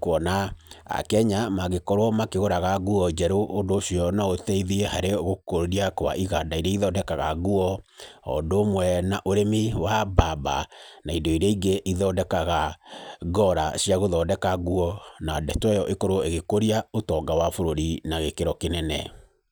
kwona akenya magĩkorwo makĩgũraga nguo njerũ ũndũ ũcio no ũteithie harĩ gũkũria kwa iganda iria ithondekaga nguo oũndũ ũmwe na ũrĩmi wa mbamba, na indo iria ingĩ ithondekaga ngora cia gũthondeka nguo, na ndeto ĩyo ĩkorwo ĩgĩkũria ũtonga wa bũrũri na gĩkĩro kĩnene.